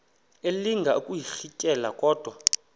elinga ukuyirintyela kodwa